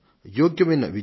యోగ్యమైన విద్య